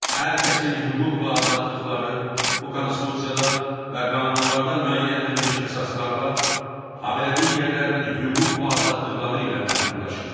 Hər kəsin hüquq və azadlıqları bu Konstitusiyada və qanunlarda müəyyən edilmiş əsaslarla, habelə digərlərinin hüquq və azadlıqları ilə məhdudlaşır.